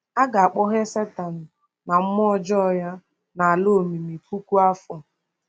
A ga-akpọghee Satan na mmụọ ọjọọ ya n’ala omimi puku afọ.